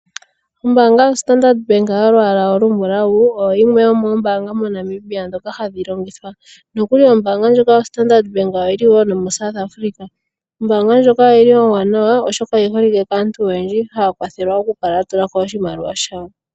Ombaanga ya Standard Bank yolwaala olumbulawu oyo yimwe yomoombanga mo Namibia ndhoka hadhi longithwa. ombaanga ndjika oyili woo no mo South Africa. Ombaanga ndjika ombwanawa oyiholike kaantu oyendji mokupungulako iimaliwa .